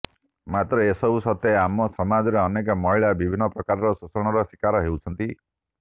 ମାତ୍ର ଏସବୁ ସତ୍ୱେ ଆମ ସମାଜରେ ଅନେକ ମହିଳା ବିିଭିନ୍ନ ପ୍ରକାରର ଶୋଷଣର ଶିକାର ହେଉଛନ୍ତି